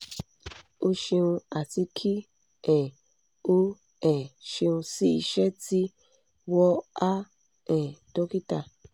o ṣeun ati ki um o um ṣeun si iṣẹ ti "wọ a um dokita